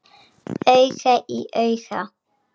Auga í auga.